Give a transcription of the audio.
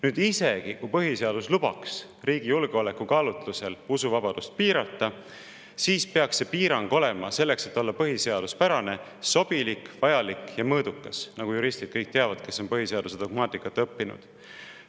Nüüd, isegi kui põhiseadus lubaks riigi julgeoleku kaalutlusel usuvabadust piirata, siis peaks see piirang olema põhiseaduspärane, sobilik, vajalik ja mõõdukas, nagu teavad kõik juristid, kes on põhiseaduse dogmaatikat õppinud.